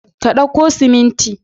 Ka dauko siminti.